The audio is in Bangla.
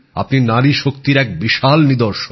আপনি নারী শক্তির একটি বিশাল নিদর্শন